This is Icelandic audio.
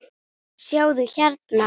sjáðu, hérna.